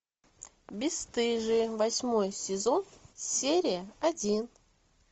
бесстыжие восьмой сезон серия один